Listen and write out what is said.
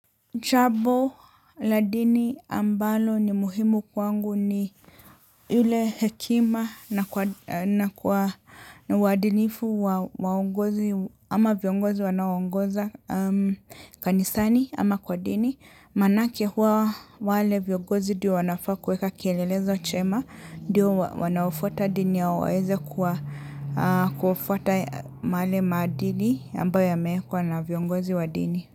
Jambo la dini ambalo ni muhimu kwangu ni yule hekima na kwa uadilifu wa ongozi ama viongozi wanaoongoza kanisani ama kwa dini. Manake huwa wale viongozi ndiyo wanafaa kuweka kielelezo chema ndiyo wanaofuata dini yao waeze kuwa kufuata yale maadili ambayo yameekwa na viongozi wa dini.